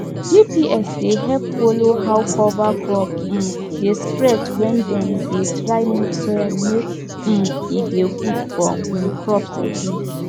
gps dey help follow how cover crop um dey spread when dem dey try make soil make um e dey good for um crops again